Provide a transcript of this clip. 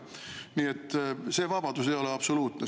Nii et see vabadus ei ole absoluutne.